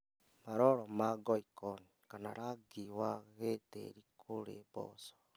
Maroro ma ngoikoni kana rangi wa gĩtĩĩri kũrĩ mboco